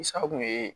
Sa kun ye